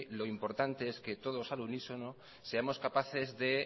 lo importante es que todos al unísono seamos capaces de